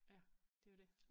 Ja det jo det